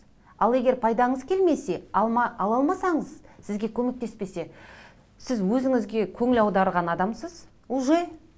ал егер пайдаңыз келмесе ала алмасаңыз сізге көмектеспесе сіз өзіңізге көңіл аударған адамсыз уже